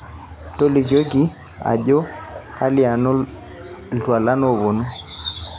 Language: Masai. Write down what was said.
tolikioki ajo kelianu iltualan oopuonu